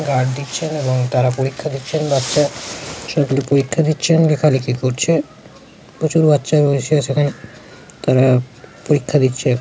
Guard দিচ্ছেন এবং তারা পরীক্ষা দিচ্ছেন। বাচ্চা সকলে পরীক্ষা দিচ্ছেন লেখালেখি করছে। প্রচুর বাচ্চা রয়েছে সেখানে তারা পরীক্ষা দিচ্ছে